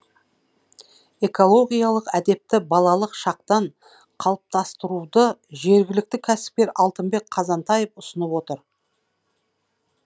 экологиялық әдепті балалық шақтан қалыптастыруды жергілікті кәсіпкер алтынбек қазантаев ұсынып отыр